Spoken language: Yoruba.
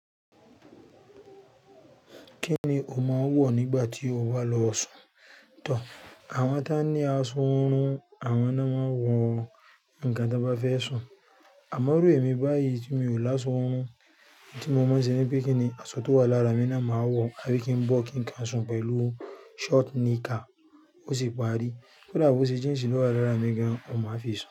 Kí ni o máa ń wọ̀ nígbà tí o bá lọ sùn? Tọ̀, àwọn tí wọ́n ní aṣọ ọwọ́ run, àwọn náà máa ń wọ nǹkan tí wọ́n bá fẹ́ sùn. Àmọ́, e rò emí báyìí tí mi ò láṣọ ọwọ́ run, è tí mo máa ń ṣe ni pé kí ni asọ tí ó wà lára mi náà máa wọ̀, a bí kí n bọ́ kí n kàún sùn pẹ̀lú shọ́ọ̀tì níìká, ó sì parí. To dà bẹ́ ṣẹ́, jíǹsì ni ó wà lára mi gan, ó máa fi sùn.